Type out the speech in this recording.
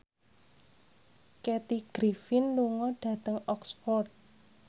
Kathy Griffin lunga dhateng Oxford